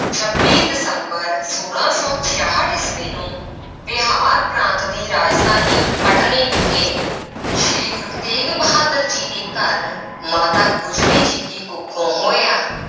ਛੱਬੀ ਦਸੰਬਰ ਛੋਲਾਂ ਸੌ ਛਿਆਹਠ ਈਸਵੀ ਨੂੰ ਬਿਹਾਰ ਪ੍ਰਾਂਤ ਦੀ ਰਾਜਧਾਨੀ ਪਟਨੇ ਵਿਖੇ ਸ੍ਰੀ ਗੁਰੂ ਤੇਗ ਬਹਾਦਰ ਜੀ ਦੇ ਘਰ ਮਾਤਾ ਗੁਜਰੀ ਜੀ ਦੀ ਕੁੱਖੋਂ ਹੋਇਆ।